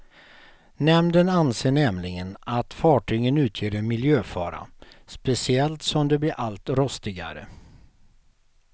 Nämnden anser nämligen att fartygen utgör en miljöfara, speciellt som de blir allt rostigare.